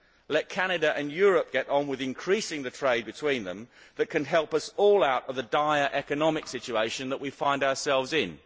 Let Canada and Europe get on with increasing the trade between them that can help us all out of the dire economic situation that we find ourselves in.